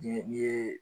Ni ye